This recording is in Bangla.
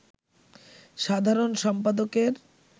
সাধারণ সম্পাদকের